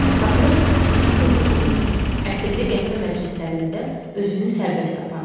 Papiros tüstüsü ilə dolu, ətirli qəhvə məclislərində özünü sərbəst aparırdı.